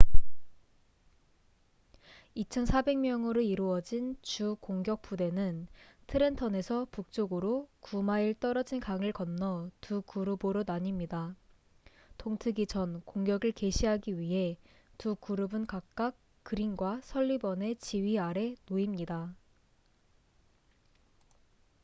2,400명으로 이루어진 주 공격 부대는 트렌턴에서 북쪽으로 9마일 떨어진 강을 건너 두 그룹으로 나뉩니다 동트기 전 공격을 개시하기 위해 두 그룹은 각각 그린과 설리번의 지휘 아래 놓입니다